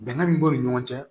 Bɛnkan min b'o ni ɲɔgɔn cɛ